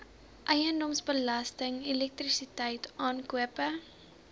eiendomsbelasting elektrisiteit aankope